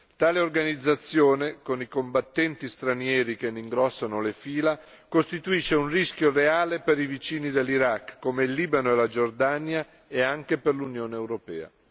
Tale organizzazione, con i combattenti stranieri che ne ingrossano le fila, costituisce un rischio reale per i vicini dell'Iraq, come il Libano e la Giordania, e anche per l'Unione europea.